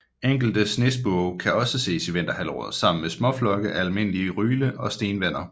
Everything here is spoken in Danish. Enkelte snespurve kan også ses i vinterhalvåret sammen med småflokke af almindelig ryle og stenvender